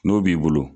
N'o b'i bolo